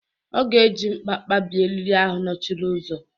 Ọ ga-eji mkpa kpabie eriri ahụ nọchiri ụzọ.